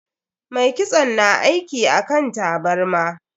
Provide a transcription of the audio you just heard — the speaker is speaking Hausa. Mai kitson na aiki akan tabarma.